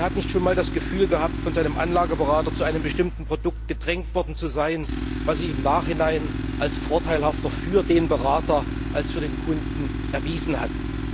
Wer hat nicht schon einmal das Gefühl gehabt, von seinem Anlageberater zu einem bestimmten Produkt gedrängt worden zu sein, was sich im Nachhinein als vorteilhafter für den Berater als für den Kunden erwiesen hat?